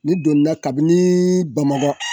N'i donna kabini Bamakɔ.